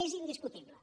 és indiscutible